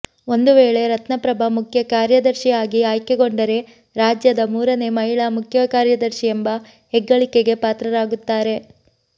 ಒಂದುವೇಳೆ ರತ್ನಪ್ರಭಾ ಮುಖ್ಯ ಕಾರ್ಯದರ್ಶಿ ಆಗಿ ಆಯ್ಕೆಗೊಂಡರೆ ರಾಜ್ಯದ ಮೂರನೇ ಮಹಿಳಾ ಮುಖ್ಯಕಾರ್ಯದರ್ಶಿ ಎಂಬ ಹೆಗ್ಗಳಿಕೆಗೆ ಪಾತ್ರರಾಗುತ್ತಾರೆ